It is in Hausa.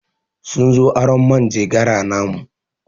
Sun zo arron manjegara namu.